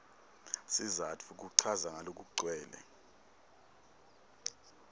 sizatfu kuchaza ngalokugcwele